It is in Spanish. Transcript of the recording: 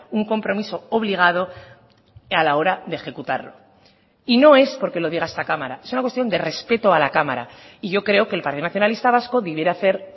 un compromiso obligado a la hora de ejecutarlo y no es porque lo diga esta cámara es una cuestión de respeto a la cámara y yo creo que el partido nacionalista vasco debiera hacer